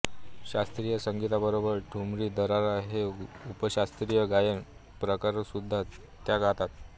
शास्त्रीय संगीताबरोबरच ठुमरी दादरा हे उपशास्त्रीय गायन प्रकारसुद्धा त्या गातात